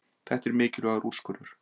Þetta er mikilvægur úrskurður